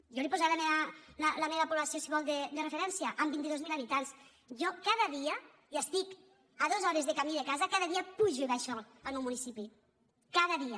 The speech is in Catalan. jo li posaré la meva població si vol de referència amb vint dos mil habitants jo cada dia i estic a dos hores de camí de casa cada dia pujo i baixo del meu municipi cada dia